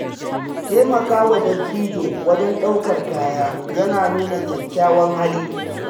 Taimakawa dattijo wajen ɗaukar kaya yana nuna kyakkyawan hali.